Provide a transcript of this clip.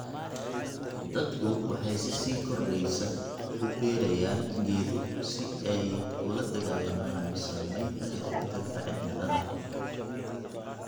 Dadku waxay si sii kordheysa u beerayaan geedo si ay ula dagaallamaan saameynta isbeddelka cimilada.